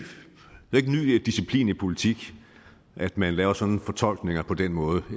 disciplin i politik at man laver sådan nogle fortolkninger på den måde